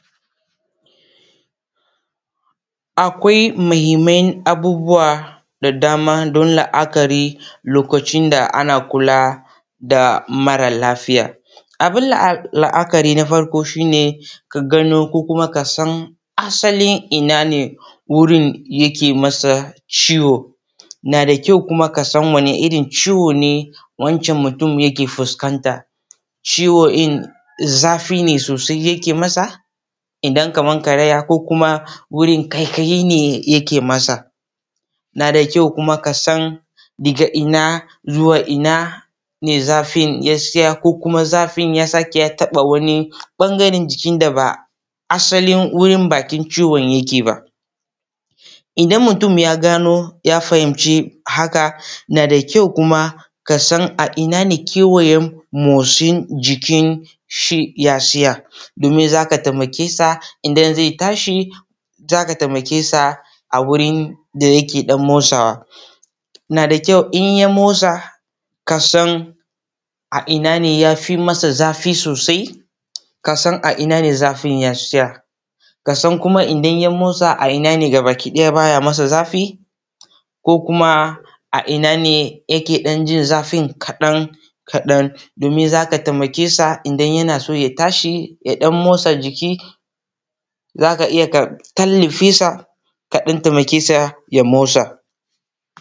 Akwai muhinman abubuwan da dama don la’akari a lokacin da ana kula da mara lafiya, abun la’akari na farko shi ne ka gano ko kuma kasan asalin ina ne wurin yake masa ciwo, na da kyau kuma kasan wani rin ciwo ne wancan mutumin yake fuskanta ciwon ɗin zafi ne sosai yake masa kaman irin karaya ko kuma wurin ƙaiƙayi ne yake masa na da kyau kuma kasan daga ina kuma zuwa, ina zafin ya siya ko kuma zafin ya taɓa wurin da ba asalin wurin bakin ciwon ba. Idan mutum ya gano ya fahimci haka na da kyau kuma kasan a ina ne kewayen motsin jikin shi ya tsaya domin za ka taimake sa idan ze tashi za ka taimakes a wurin da yake motsawa na da kyau in ka motsa a ina ne ya fi mata zafi sosai. Kasan a ina ne zafin ya tsaya kasan kuma idan ya motsa a ina ne gabaɗaya ba ya masa zafi ko kuma a ina ne yake ɗan jin zafin kaɗan-kaɗan domin za ka taimake sa idan yana so ya tashi ya ɗan motsa jiki, za ka iya kan ɗan tallafe sa kaɗan taimake sa ya motsa.